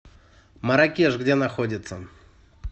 марракеш где находится